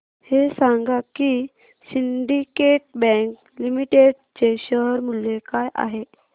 हे सांगा की सिंडीकेट बँक लिमिटेड चे शेअर मूल्य काय आहे